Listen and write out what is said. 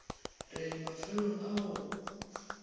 re le mafelong a go